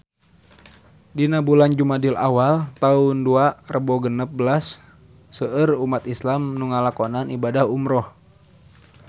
Dina bulan Jumadil awal taun dua rebu genep belas seueur umat islam nu ngalakonan ibadah umrah